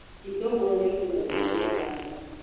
Itũngũrũ nĩ igũmagĩrwo nĩ tũtabi.